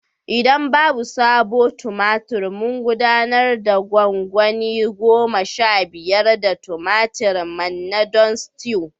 Idan babu sabo tumatur mun gudanar da gwangwani goma sha biyar na tumatir manna don stew